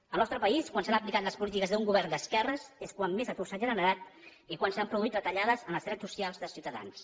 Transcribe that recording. al nostre país quan s’han aplicat les polítiques d’un govern d’esquerres és quan més atur s’ha generat i quan s’han produït retallades en els drets socials de ciutadans